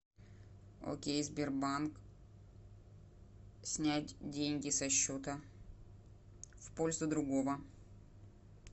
окей сбербанк снять деньги со счета в пользу другого